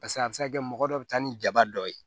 Paseke a bɛ se ka kɛ mɔgɔ dɔ bɛ taa ni jaba dɔ ye